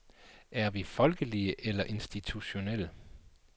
Er vi folkelige eller institutionelle?